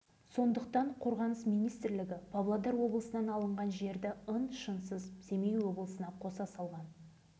себебі бұл мамыр ауданының орталығынан қатынау үшін дәл сол кезде көршілес абай ауданының жерінде құпия түрде салынып